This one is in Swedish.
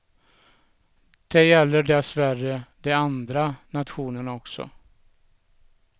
Det gäller dessvärre de andra nationerna också.